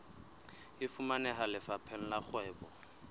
e fumaneha lefapheng la kgwebo